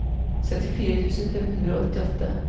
syttifire tusen fem hundre og åttiåtte